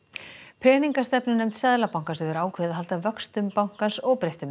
peningastefnunefnd Seðlabankans hefur ákveðið að halda vöxtum bankans óbreyttum